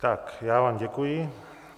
Tak já vám děkuji.